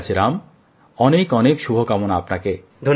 ঠিক আছে রাম অনেক অনেক শুভ কামনা আপনাকে